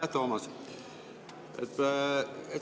Aitäh, Toomas!